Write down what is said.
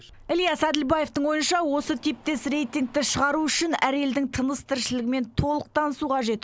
ілияс әділбаевтың ойынша осы типтес рейтингті шығару үшін әр елдің тыныс тіршілігімен толық танысу қажет